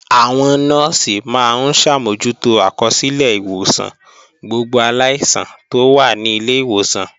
Àwọn Nọ́ọ̀sì máa ń ṣàmójútó àkọsílẹ̀ ìwòsàn gbogbo aláìsàn tó wà ní ilé ìwòsàn